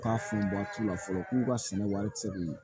U k'a funu t'u la fɔlɔ k'u ka sɛnɛ warici minɛ